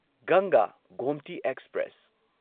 ꯒꯪꯒꯥ ꯒꯣꯝꯇꯤ ꯑꯦꯛꯁꯄ꯭ꯔꯦꯁ